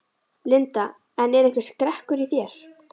Linda: En er einhver skrekkur í þér?